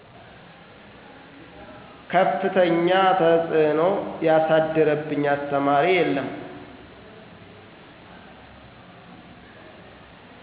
ከፍተኛ ተፅዕኖ ያሳደረብኝ አስተማሪ የለም።